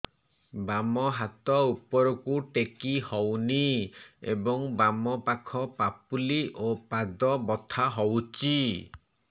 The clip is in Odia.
ବାମ ହାତ ଉପରକୁ ଟେକି ହଉନି ଏବଂ ବାମ ପାଖ ପାପୁଲି ଓ ପାଦ ବଥା ହଉଚି